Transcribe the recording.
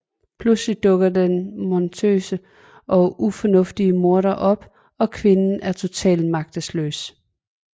Pludselig dukker den monstrøse og ufornuftige morder op og kvinden er totalt magtesløs